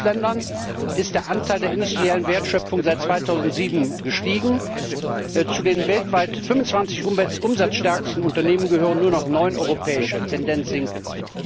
Nur in fünf Ländern ist der Anteil der industriellen Wertschöpfung seit 2007 gestiegen. Zu den weltweit 25 umsatzstärksten Unternehmen gehören nur noch neun europäische, Tendenz sinkend.